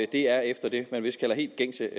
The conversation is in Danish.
det er efter det man vist kalder helt gængse